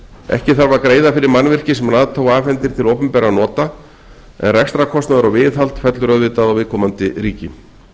ekki þarf að greiða fyrir mannvirki sem nato afhendir til opinberra nota en rekstrarkostnaður og viðhald fellur auðvitað á viðkomandi ríki